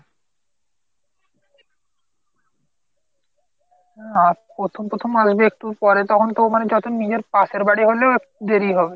না প্রথম প্রথম আসবে একটু পরে তো তখন তো মানে নিজের পাশের বাড়ি হলেও দেরি হবে।